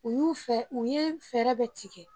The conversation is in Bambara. U y'u fɛ u ye fɛɛrɛ bɛ tigɛ